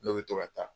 Ne bɛ to ka taa